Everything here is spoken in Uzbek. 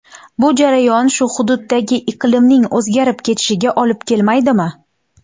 Bu jarayon shu hududdagi iqlimning o‘zgarib ketishiga olib kelmaydimi?